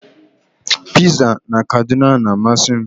Piza na Kaduna na-amasị m